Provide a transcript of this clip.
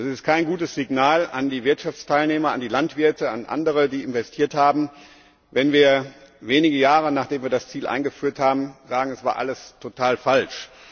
Es ist kein gutes Signal an die Wirtschaftsteilnehmer, an die Landwirte, an andere, die investiert haben, wenn wir wenige Jahre, nachdem wir das Ziel eingeführt haben, sagen, es war alles total falsch.